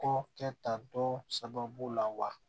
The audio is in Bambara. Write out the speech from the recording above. Kɔ kɛ tantɔ sababu la wa